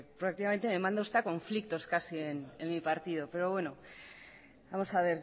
prácticamente me manda usted a conflictos casi en mi partido pero bueno vamos a